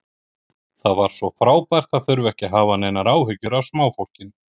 Það var svo frábært að þurfa ekki að hafa neinar áhyggjur af smáfólkinu.